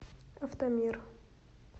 автомир